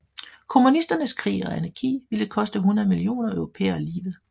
Kommunisternes krig og anarki ville koste 100 millioner europæere livet